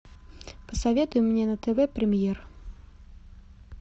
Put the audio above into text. посоветуй мне на тв премьер